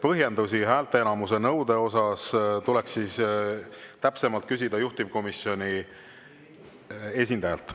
Põhjendusi häälteenamuse nõude kohta tuleks täpsemalt küsida juhtivkomisjoni esindajalt.